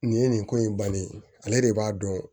Nin ye nin ko in bannen ye ale de b'a dɔn